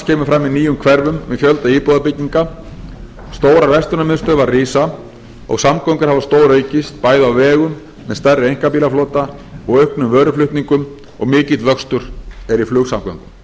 kemur fram í nýjum hverfum með fjölda íbúðabygginga stórar verslunarmiðstöðvar rísa og samgöngur hafa stóraukist bæði á vegum með stærri einkabílaflota og auknum vöruflutningum og mikill vöxtur er í flugsamgöngum